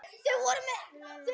Kveður nærri kvenna best.